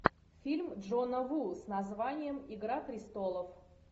фильм джона ву с названием игра престолов